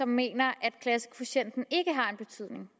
mener at klassekvotienten ikke har en betydning